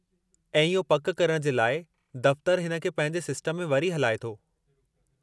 ऐं इहो पकि करणु जे लाइ दफ़्तरु हिन खे पंहिंजे सिस्टम में वरी हलाए थो।